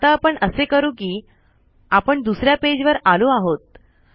आता आपण असे करू कि आपण दुसऱ्या पेज वर आलो आहोत